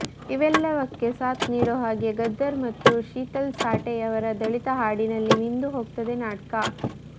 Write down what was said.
ಇವೆಲ್ಲವಕ್ಕೆ ಸಾಥ್ ನೀಡೋ ಹಾಗೆ ಗದ್ದರ್ ಮತ್ತು ಶೀತಲ್ ಸಾಠೆ ಯವರ ದಲಿತ ಹಾಡಿಗಳಲ್ಲಿ ಮಿಂದು ಹೋಗ್ತದೆ ನಾಟ್ಕ